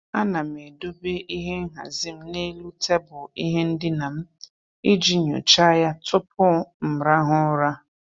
A na m edobe ihe nhazị m n'elu tebụl ihe ndịna m iji nyocha ya tụpụ m rahụ ụra.